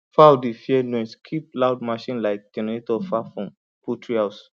fowl fowl dey fear noise keep loud machine like generator far from poultry house